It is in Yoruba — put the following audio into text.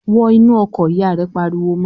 "Wọn inú ọkọ̀!" Ìyá rẹ̀ pariwo mọ́ ọ.